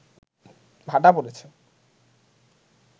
ভাটা পড়েছে